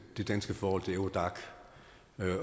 det danske forhold til eurodac